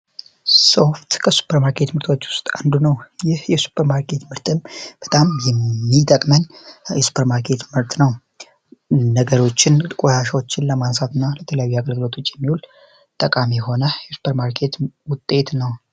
ሶፍት ከ ሱፐር ማርኬቶች ዉስጥ አዱ ነው ይህ የ ሱፐር ማርኬት ምርትም በጣም የ ሚገጥመኝ የ ሱፐር ማርኬት ምርት ነው ነገሮችን ነገርችን ቆሻሻዎችን ለማንሳት እና ለተለያዩ አገልግለቶች የሚዉል ጠቃሚ የሆነ የሱፐር ማርኬት ምርት ነው ።